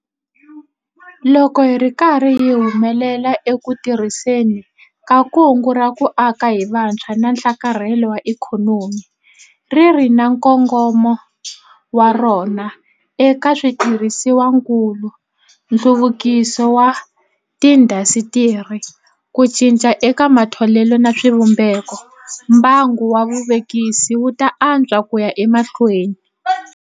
Loko hi ri karhi hi humelela eku tirhiseni ka Kungu ra ku Aka hi Vutshwa na Nhlakarhelo wa Ikhonomi - ri ri na nkongomo wa rona eka switirhisiwakulu, nhluvukiso wa tiindasitiri, ku cinca eka matholelo na swivumbeko - mbangu wa vuvekisi wu ta antswa ku ya emahlweni.